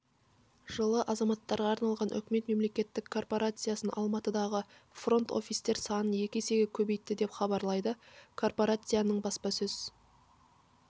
жылы азаматтарға арналған үкімет мемлекеттік корпорациясы алматыдағы фронт-офистер санын екі есеге көбейтті деп хабарлайды корпорацияның баспасөз